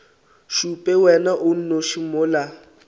šupe wena o nnoši mola